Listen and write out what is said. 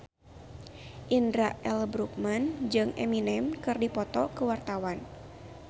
Indra L. Bruggman jeung Eminem keur dipoto ku wartawan